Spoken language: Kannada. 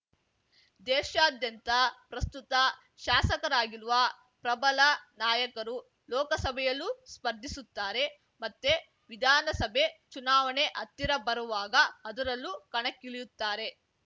ದೇಶಾದ್ಯಂತ ಪ್ರಸ್ತುತ ಶಾಸಕರಾಗಿರುವ ಪ್ರಬಲ ನಾಯಕರು ಲೋಕಸಭೆಯಲ್ಲೂ ಸ್ಪರ್ಧಿಸುತ್ತಾರೆ ಮತ್ತೆ ವಿಧಾನಸಭೆ ಚುನಾವಣೆ ಹತ್ತಿರ ಬರುವಾಗ ಅದರಲ್ಲೂ ಕಣಕ್ಕಿಳಿಯುತ್ತಾರೆ